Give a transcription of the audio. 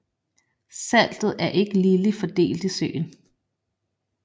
Saltet er ikke ligeligt fordelt i søen